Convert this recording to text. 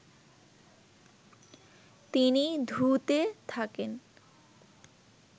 তিনি ধু-তে থাকেন